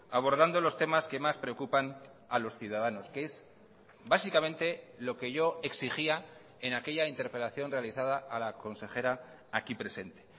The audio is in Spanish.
abordando los temas que más preocupan a los ciudadanos que es básicamente lo que yo exigía en aquella interpelación realizada a la consejera aquí presente